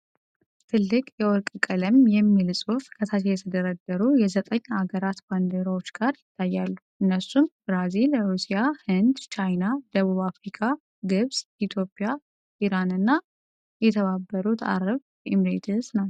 ትልቅ የወርቅ ቀለም ያለው "BRICS" የሚል ጽሑፍ ከታች የተደረደሩ የዘጠኝ አገራት ባንዲራዎች ጋር ይታያሉ፣ እነሱም ብራዚል፣ ሩሲያ፣ ህንድ፣ ቻይና፣ ደቡብ አፍሪካ፣ ግብጽ፣ ኢትዮጵያ፣ ኢራን እና የተባበሩት አረብ ኤሚሬትስ ናቸው።